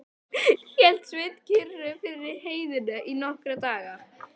Hélt Sveinn kyrru fyrir í heiðinni í nokkra daga.